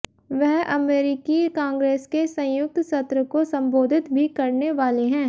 वह अमेरिकी कांग्रेस के संयुक्त सत्र को संबोधित भी करने वाले हैं